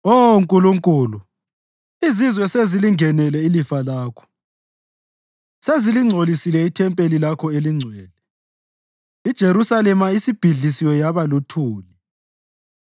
Oh Nkulunkulu, izizwe sezilingenele ilifa lakho; sezilingcolisile ithempeli lakho eligcwele, iJerusalema isibhidliziwe yaba luthuli.